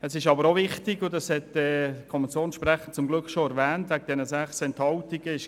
Es ist aber auch wichtig, das hat der Kommissionssprecher zum Glück bereits erwähnt, dass es sechs Enthaltungen gab.